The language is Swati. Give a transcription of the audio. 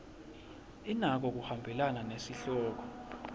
inako kuhambelana nesihloko